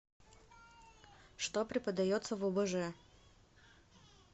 что преподается в обж